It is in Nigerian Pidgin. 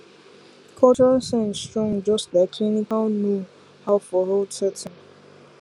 cultural sense strong just like clinical knowhow for health setting